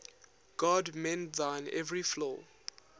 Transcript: god mend thine every flaw